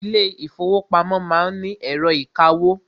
Ilé ìfọwọ́pamo má ń ni ẹ̀rọ ìkawó.